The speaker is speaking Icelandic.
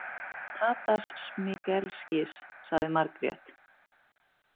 Tadas Smigelskis, sagði Margrét.